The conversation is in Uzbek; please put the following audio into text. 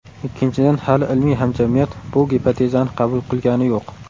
Ikkinchidan, hali ilmiy hamjamiyat bu gipotezani qabul qilgani yo‘q.